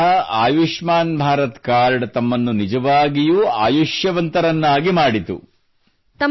ಇದರರ್ಥ ಆಯುಷ್ಮಾನ್ ಭಾರತ್ ಕಾರ್ಡ್ ತಮ್ಮನ್ನು ನಿಜವಾಗಿಯೂ ಆಯುಷ್ಯವಂತರನ್ನಾಗಿ ಮಾಡಿತು